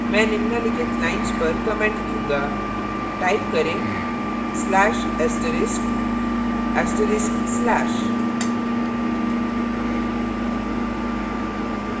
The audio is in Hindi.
मैं निम्नलिखित lines पर comment दूंगा type करें/* */